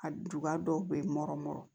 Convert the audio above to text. A duba dɔw bɛ nɔrɔ nɔrɔ